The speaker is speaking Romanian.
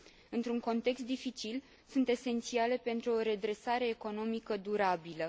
Într un context dificil sunt esențiale pentru o redresare economică durabilă.